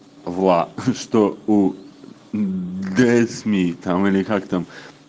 влад что у грейсмит там или как там